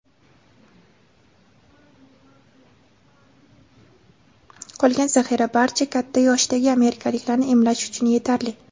qolgan zaxira barcha katta yoshdagi amerikaliklarni emlash uchun yetarli.